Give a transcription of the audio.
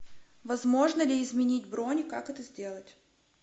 возможно ли изменить бронь как это сделать